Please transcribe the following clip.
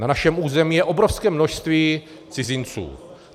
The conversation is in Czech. Na našem území je obrovské množství cizinců.